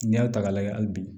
N'i y'a ta k'a lajɛ hali bi